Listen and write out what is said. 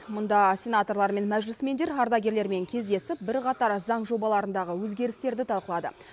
мұнда сенаторлар мен мәжілісмендер ардагерлермен кездесіп бірқатар заң жобаларындағы өзгерістерді талқылады